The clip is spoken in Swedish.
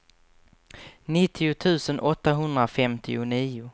nittio tusen åttahundrafemtionio